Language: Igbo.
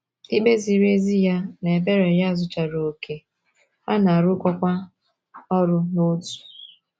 Ikpe ziri ezi ya na ebere ya zuchara okè, ha na - arụkọkwa ọrụ n’otu.